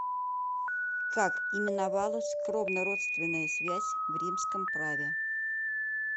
как именовалась кровнородственная связь в римском праве